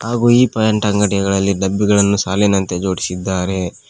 ಹಾಗೂ ಈ ಪೖಂಟ್ ಅಂಗಡಿಗಳಲ್ಲಿ ಡಬ್ಬಿಗಳನ್ನು ಸಾಲಿನಂತೆ ಜೋಡಿಸಿದ್ದಾರೆ.